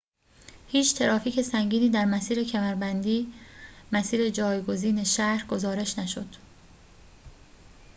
هیچ ترافیک سنگینی در مسیر کمربندی مسیر جایگزین شهر گزارش نشد